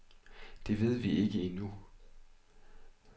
Det ved vi ikke endnu.